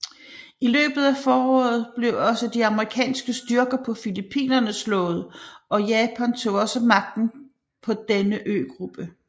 I løbet af foråret blev også de amerikanske styrker på Filippinerne slået og Japan tog også magten på denne øgruppe